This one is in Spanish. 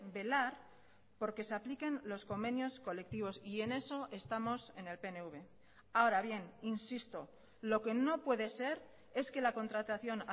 velar porque se apliquen los convenios colectivos y en eso estamos en el pnv ahora bien insisto lo que no puede ser es que la contratación